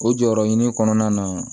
O jɔyɔrɔ ɲini kɔnɔna na